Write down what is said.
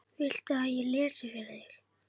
Viltu að ég lesi fyrir þig?